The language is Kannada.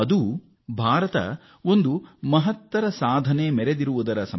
ಅದು ಭಾರತ ಪಡೆದುಕೊಂಡ ದೊಡ್ಡ ಶಕ್ತಿಯದ್ದಾಗಿದೆ